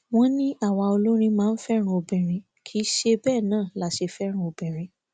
wọn ní àwa olórin máa ń fẹràn obìnrin kì í ṣe bẹẹ náà la ṣe fẹràn obìnrin